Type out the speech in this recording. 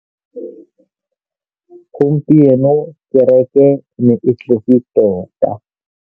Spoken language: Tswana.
Gompieno kêrêkê e ne e tletse tota.